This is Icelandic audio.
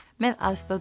með aðstoð